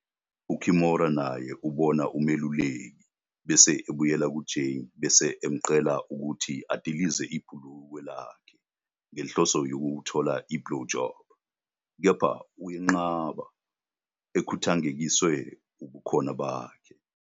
UKimora naye ubona umeluleki, bese ebuyela kuJay bese emcela ukuthi adilize ibhulukwe lakhe ngenhloso yokuthola i-blowjob, kepha uyenqaba, ekhungathekiswe ubukhona bakhe.